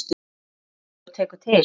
Hver þrífur og tekur til?